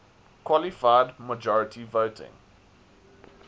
qualified majority voting